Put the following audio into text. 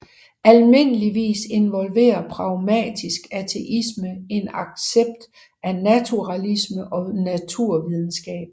Almindeligvis involverer pragmatisk ateisme en accept af naturalisme og naturvidenskab